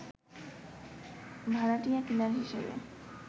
ভাড়াটিয়া কিলার হিসেবে